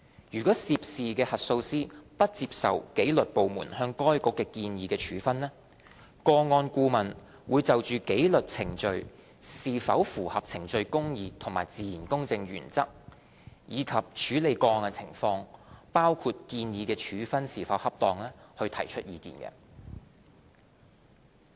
如涉事核數師不接受紀律部門向該局建議的處分，個案顧問會就紀律程序是否符合程序公義和自然公正原則，以及處理個案的情況提出意見。